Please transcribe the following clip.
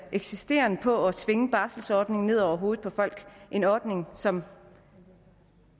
insisteren på at tvinge barselordningen ned over hovedet på folk en ordning som